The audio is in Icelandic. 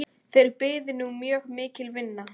Þeirra byði nú mjög mikil vinna